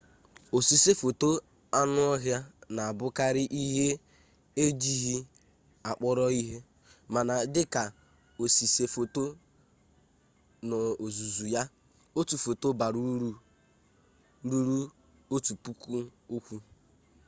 osise foto anụ ọhịa na-abụkarị ihe ejighị kpọrọ ihe mana dị ka osise foto n'ozuzu ya otu foto bara uru ruru otu puku okwu